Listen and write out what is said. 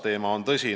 Teema on tõsine.